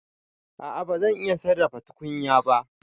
A'a ban iya sarrafa tukunya ba.